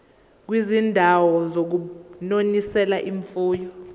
kwizindawo zokunonisela imfuyo